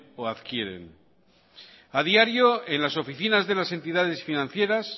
o adquieren a diario en las oficinas de las entidades financieras